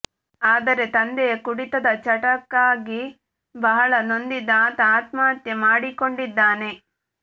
ಆದರೆ ತಂದೆಯ ಕುಡಿತದ ಚಟಕ್ಕಾಗಿ ಬಹಳ ನೊಂದಿದ್ದ ಆತ ಆತ್ಮಹತ್ಯೆ ಮಾಡಿಕೊಂಡಿದ್ದಾನೆ